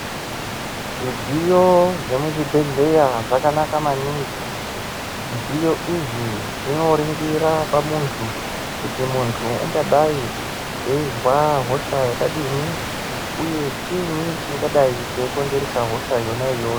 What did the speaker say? Zvidziyo zvemuzvibhedhleya zvakanaka maningi. Zvidziyo izvi zvinoringira pamuntu, kuti muntu ungadai eizwa hosha yakadini, uye chiini chingadai cheikonzeresa hosha yona iyoyo.